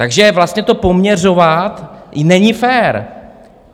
Takže vlastně to poměřovat není fér.